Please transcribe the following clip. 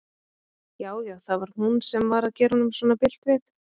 Já, já, það var hún sem var að gera honum svona bilt við!